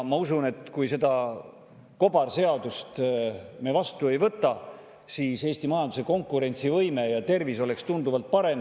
Ma usun, et kui me seda kobarseadust me vastu ei võta, siis Eesti majanduse konkurentsivõime ja tervis oleks tunduvalt parem.